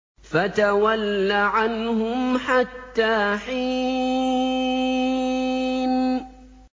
فَتَوَلَّ عَنْهُمْ حَتَّىٰ حِينٍ